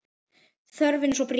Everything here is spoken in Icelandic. Þörfin er svo brýn.